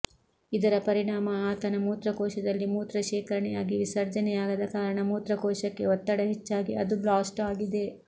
ಇದರ ಪರಿಣಾಮ ಆತನ ಮೂತ್ರಕೋಶದಲ್ಲಿ ಮೂತ್ರ ಶೇಖರಣೆಯಾಗಿ ವಿಸರ್ಜನೆಯಾಗದ ಕಾರಣ ಮೂತ್ರಕೋಶಕ್ಕೆ ಒತ್ತಡ ಹೆಚ್ಚಾಗಿ ಅದು ಬ್ಲಾಸ್ಟ್ ಆಗಿದೆ